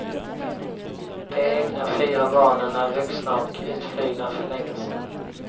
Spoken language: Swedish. De egna fyra barnen är vuxna och utflugna för länge sen.